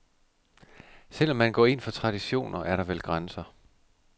Selv om man går ind for traditioner, er der vel grænser.